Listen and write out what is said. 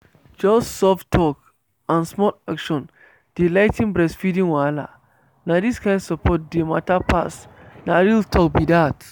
just soft talk and small action dey ligh ten breastfeeding wahala. na this kind support dey matter pass… na real talk be dat.